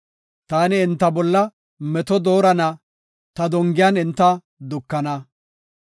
“Taani enta bolla meto doorana; ta dongiyan enta dukana.